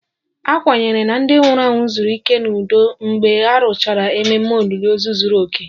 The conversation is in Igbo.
A kwenyere na ndị nwụrụ anwụ zuru ike n'udo mgbe a rụchara ememe olili ozu zuru oke